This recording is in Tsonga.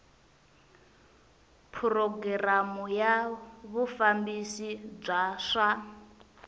programu ya vufambisi bya swa